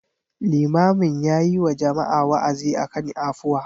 Limamin yayi wa jama'a wa'azi akan afuwa.